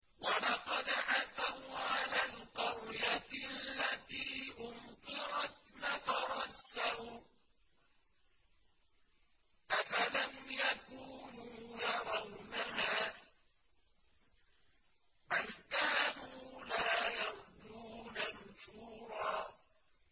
وَلَقَدْ أَتَوْا عَلَى الْقَرْيَةِ الَّتِي أُمْطِرَتْ مَطَرَ السَّوْءِ ۚ أَفَلَمْ يَكُونُوا يَرَوْنَهَا ۚ بَلْ كَانُوا لَا يَرْجُونَ نُشُورًا